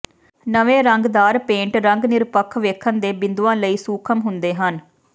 ਨਵੇਂ ਰੰਗਦਾਰ ਪੇਂਟ ਰੰਗ ਨਿਰਪੱਖ ਵੇਖਣ ਦੇ ਬਿੰਦੂਆਂ ਲਈ ਸੂਖਮ ਹੁੰਦੇ ਹਨ